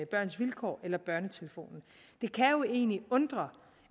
børns vilkår eller børnetelefonen det kan jo egentlig undre